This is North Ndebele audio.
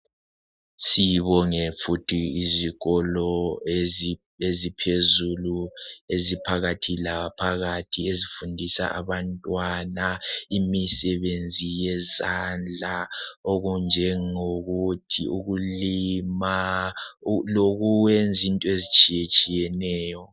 Sibonge futhi izikolo eziphezulu eziphakathi laphakathi ezifundisa abantwana imisebenzi yezandla enjengokulima lo kuyenza into ezitshiye tshiyeneyo.